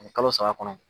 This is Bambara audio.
Ani kalo saba kɔnɔ